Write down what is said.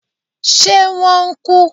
ṣe wọn n ku?